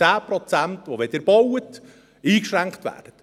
10 Prozent, die, wenn Sie bauen, eingeschränkt werden.